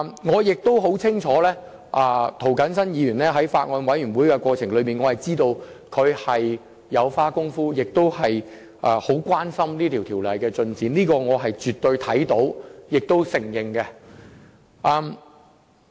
我亦清楚涂謹申議員在法案委員會的商議過程中有下過工夫，他亦關注《條例草案》的進展，這是我親眼目睹和必須承認的。